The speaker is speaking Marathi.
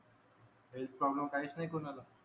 हेल्थ प्रॉब्लेम काहीच नाय कोणाला